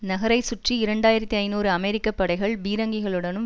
நகரைச்சுற்றி இரண்டு ஆயிரத்தி ஐநூறு அமெரிக்க படைகள் பீரங்கிகளுடனும்